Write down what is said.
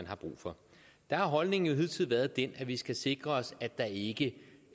har brug for der har holdningen hidtil været den at vi skal sikre os at der ikke